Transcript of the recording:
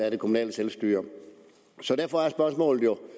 af det kommunale selvstyre så derfor er spørgsmålet jo